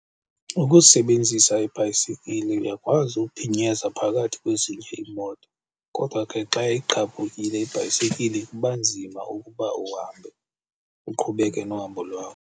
Ukusebenzisa ibhayisikile uyakwazi uphinyeza phakathi kwezinye iimoto, kodwa ke xa igqabhukile ibhayisekile kuba nzima ukuba uhambe uqhubeke nohambo lwakho.